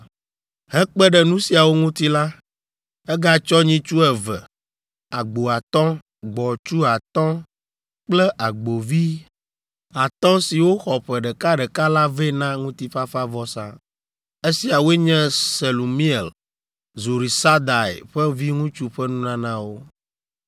Hekpe ɖe nu siawo ŋuti la, egatsɔ nyitsu eve, agbo atɔ̃, gbɔ̃tsu atɔ̃ kple agbovi atɔ̃ siwo xɔ ƒe ɖeka ɖeka la vɛ na ŋutifafavɔsa. Esiawoe nye Selumiel, Zurisadai ƒe viŋutsu ƒe nunanawo.